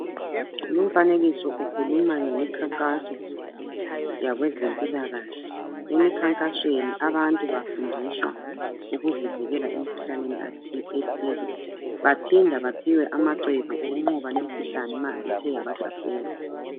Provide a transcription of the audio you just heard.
Lumfanekiso ukhuluma ngemikhankaso yakwezempilakahle, emikhankasweni abantu bafundiswa ukuzivikela emikhuhlaneni ethile baphinda baphiwe amacebo okunqoba lemikhuhlane ma ithe yabahlasela.